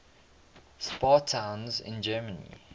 spa towns in germany